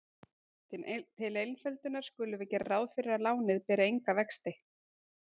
Til einföldunar skulum við gera ráð fyrir að lánið beri enga vexti.